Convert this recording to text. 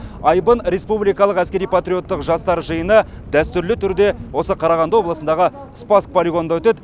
айбын республикалық әскери патриоттық жастар жиыны дәстүрлі түрде осы қарағанды облысындағы спасск полигонында өтеді